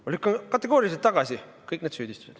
Ma lükkan kategooriliselt tagasi kõik need süüdistused.